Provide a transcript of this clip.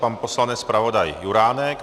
Pan poslanec zpravodaj Juránek.